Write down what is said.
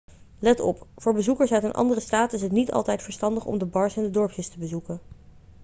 let op voor bezoekers uit een andere staat is het niet altijd verstandig om de bars in de dorpjes te bezoeken